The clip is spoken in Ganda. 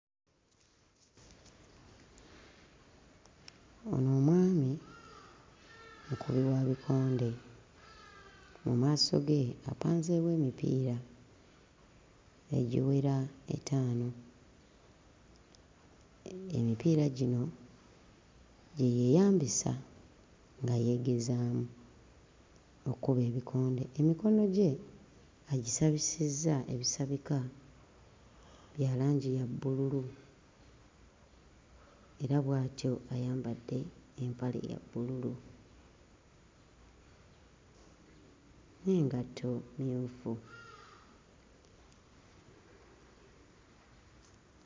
Ono omwami mukubi wa bikonde, mu maaso ge apanzeewo emipiira egiwera etaano. Emipiira gino gye yeeyambisa nga yeegezaamu okkuba ebikonde, emikono gye agisabisizza ebisabika bya langi ya bbululu era bw'atyo ayambadde empale ya bbululu n'engatto mmyufu.